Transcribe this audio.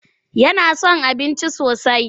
Yana son abinci sosai.